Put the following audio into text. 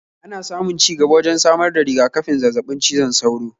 Ana samun ci gaba wajen samar da riga-kafin zazzabin cizon sauro